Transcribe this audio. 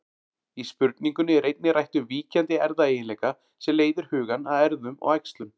Í spurningunni er einnig rætt um víkjandi erfðaeiginleika sem leiðir hugann að erfðum og æxlun.